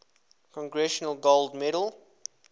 congressional gold medal